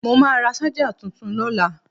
Mo máa ra ṣájà tuntun lọ́la.